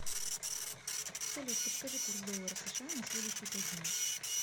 салют подскажи курс доллара сша на следующие пять дней